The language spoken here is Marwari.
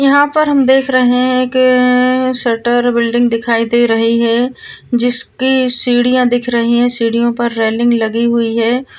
यहाँ पर हम देख रहे है के शटर बिल्डिंग दिखाई दे रही है जिसकी सिडिया दिख रही है सीढ़ियों पर रेलिंग लगी हुई है।